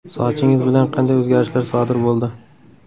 Sochingiz bilan qanday o‘zgarishlar sodir bo‘ldi?